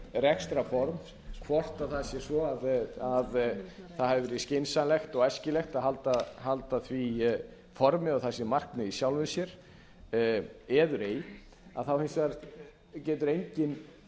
rekstrarform hvort það sé svo að það hafi verið skynsamlegt og æskilegt að halda því formi og það sé markmið í sjálfu sér eður ei þá hins vegar getur enginn